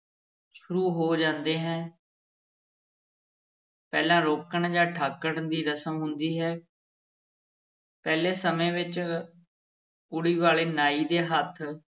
ਸ਼ੁਰੂ ਹੋ ਜਾਂਦੀ ਹੈ ਪਹਿਲਾਂ ਰੋਕਣ ਜਾਂ ਠਾਕਣ ਦੀ ਰਸਮ ਹੁੰਦੀ ਹੈ ਪਹਿਲੇ ਸਮੇਂ ਵਿੱਚ ਕੁੜੀ ਵਾਲੇ ਨਾਈ ਦੇ ਹੱਥ